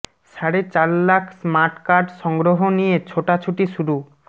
সাড়ে চার lakh smart card সংগ্রহ নিয়ে ছোটাছুটি শুরু